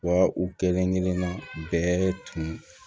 Wa u kelenkelenna bɛɛ tun